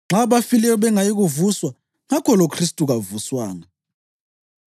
Nxa abafileyo bengayi kuvuswa, ngakho loKhristu kavuswanga.